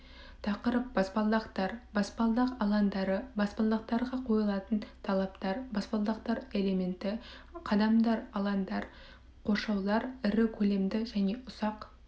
тақырып баспалдақтар баспалдақ алаңдары баспалдақтарға қойылатын талаптар баспалдақтар элементі қадамдар алаңдар қоршаулар ірі көлемді және ұсақ